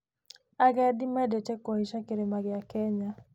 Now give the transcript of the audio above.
Agendi mendete kũhaica kĩrĩma gĩa Kenya.